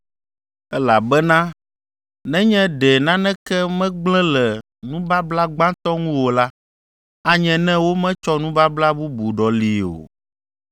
Elabena nenye ɖe naneke megblẽ le nubabla gbãtɔ ŋu o la, anye ne wometsɔ nubabla bubu ɖɔlii o.